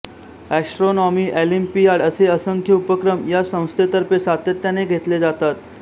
astronomy olympiad असे असंख्य उपक्रम या संस्थेतर्फे सातत्याने घेतले जातात